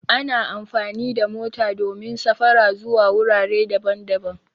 Ana amfani da mota domin safara zuwa wurare daban-daban